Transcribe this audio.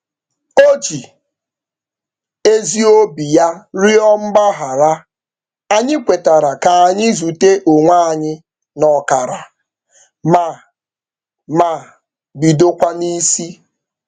O ji ezi obi ya rịọ mgbaghara, anyị kwetara ka anyị zute onwe anyị n'ọkara ma ma bidokwa n'isi.